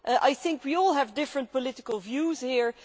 I think we all have different political views here